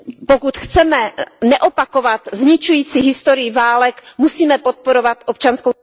Pokud chceme neopakovat zničující historii válek, musíme podporovat občanskou...